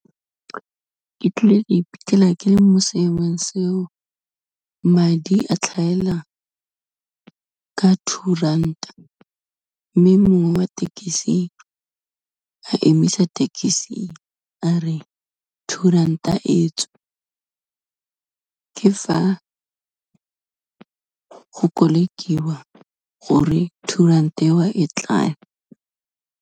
Ke tlile ka iphitlhela ke le mo seemong seo, madi a tlhaela ka two ranta, mme mongwe wa thekisi a emisa thekisi a re two ranta etswe, ke fa go kolekiwa gore two ranta eo e tlale.